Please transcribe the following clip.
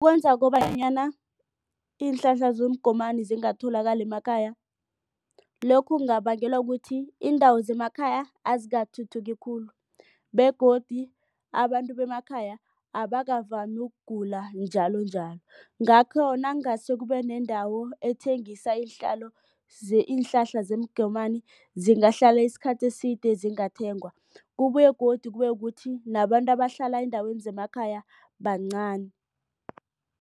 Kwenza kobanyana iinhlahla zomgomani zingatholakali emakhaya. Lokhu kungabangelwa ukuthi iindawo zemakhaya azikathuthuki khulu begodu abantu bemakhaya abakavami ukugula njalonjalo. Ngakho nakungase kubenendawo ethengisa iinhlahla zemgomani zingahlala isikhathi eside zingathengwa. Kubuye godu kube kuthi nabantu abahlala eendaweni zemakhaya bancani.